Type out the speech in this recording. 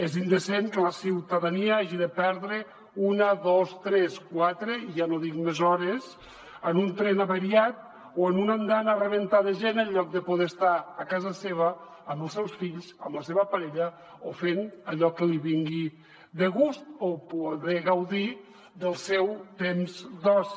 és indecent que la ciutadania hagi de perdre una dos tres quatre i ja no dic més hores en un tren avariat o en una andana a rebentar de gent en lloc de poder estar a casa seva amb els seus fills amb la seva parella o fent allò que li vingui de gust o podent gaudir del seu temps d’oci